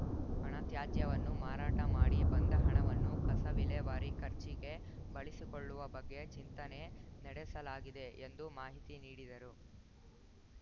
ಘನ ತ್ಯಾಜ್ಯವನ್ನು ಮಾರಾಟ ಮಾಡಿ ಬಂದ ಹಣವನ್ನು ಕಸ ವಿಲೇವಾರಿ ಖರ್ಚಿಗೆ ಬಳಸಿಕೊಳ್ಳುವ ಬಗ್ಗೆ ಚಿಂತನೆ ನಡೆಸಲಾಗಿದೆ ಎಂದು ಮಾಹಿತಿ ನೀಡಿದರು